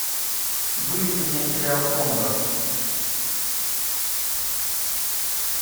выведи мне сериал кондор